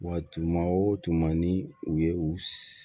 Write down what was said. Wa tuma o tuma ni u ye u